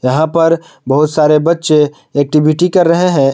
यहां पर बहुत सारे बच्चे एक्टिविटी कर रहे हैं।